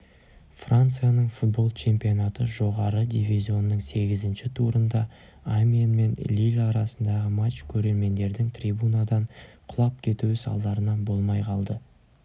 францияның футбол чемпионаты жоғары дивизонының сегізінші турында амьен мен лилль арасындағы матч көрермендердің трибунадан құлап кетуі салдарынан болмай қалды